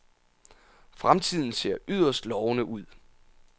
Fremtiden ser yderst lovende ud.